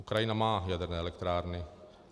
Ukrajina má jaderné elektrárny.